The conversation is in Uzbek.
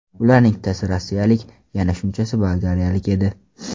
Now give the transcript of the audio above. Ularning ikkitasi rossiyalik, yana shunchasi bolgariyalik edi.